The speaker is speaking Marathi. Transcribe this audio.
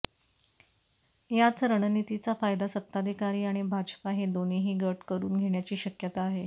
याच रणनीतीचा फायदा सत्ताधारी आणि भाजपा हे दोन्हीही गट करून घेण्याची शक्यता आहे